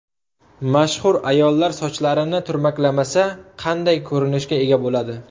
Mashhur ayollar sochlarini turmaklamasa, qanday ko‘rinishga ega bo‘ladi?